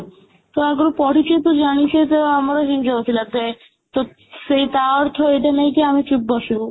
ତ ଆଗରୁ ପଢ଼ିଚେ ଜାଣିଛେ ତ ଆମର ହେଇ ଯାଉଥିଲା then ତ ସେଇ ତା ଅର୍ଥ ଏଇଟା ନାହିଁ କି ଆମେ ଚୁପ ବସିବୁ